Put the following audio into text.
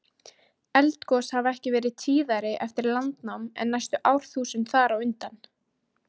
Eldgos hafa ekki verið tíðari eftir landnám en næstu árþúsund þar á undan.